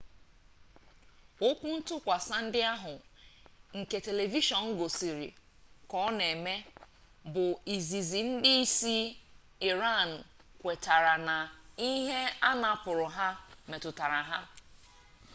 okwuntukwasa ndi ahu nke telivishon gosiri ka o na eme bu izizi ndi isi iran kwetere na ikike anapuru ha metutara ha